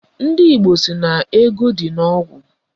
Ndị Igbo sị na ego dị n'ogwu